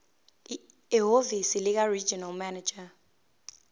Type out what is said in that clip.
ehhovisi likaregional manager